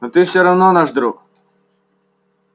но ты всё равно наш друг